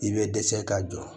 I bɛ dɛsɛ ka jɔ